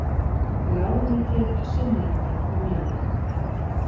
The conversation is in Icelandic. Ráðuneytið synjaði mér um leyfi.